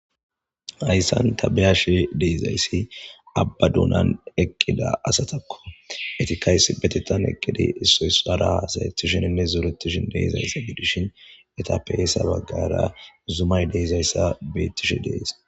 Hayssan tabeyashe deezayssi abbaduunan eqqida asatakko etikays betettan eqqidi issoysdhara asayettisheninne zuretishin deezayssa gidishin eta peesa baggara zumay deezayssa beettishe deesa.